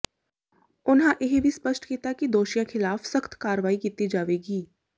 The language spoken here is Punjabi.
ਉਨ੍ਹਾਂ ਇਹ ਵੀ ਸਪਸ਼ਟ ਕੀਤਾ ਕਿ ਦੋਸ਼ੀਆਂ ਖਿਲਾਫ਼ ਸਖ਼ਤ ਕਾਰਵਾਈ ਕੀਤੀ ਜਾਵੇਗੀ